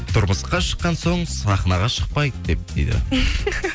тұрмысқа шыққан соң сахнаға шықпайды деп дейді